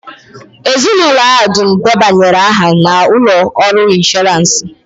Ezinụlọ ahụ dum debanyere aha na ụlọ ọrụ ịnshọransị